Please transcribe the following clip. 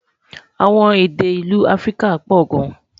àwọn èdè ìlú áfríkà pò gán